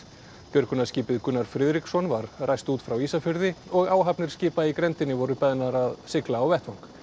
björgunarskipið Gunnar Friðriksson var ræst út frá Ísafirði og áhafnir skipa í grenndinni voru beðnar að sigla á vettvang